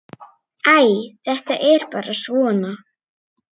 Æ, þetta er bara svona.